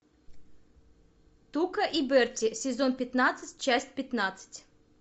тука и берти сезон пятнадцать часть пятнадцать